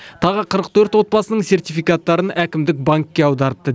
тағы қырық төрт отбасының сертификаттарын әкімдік банкке аударыпты